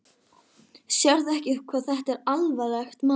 Sérðu ekki hvað þetta er alvarlegt mál?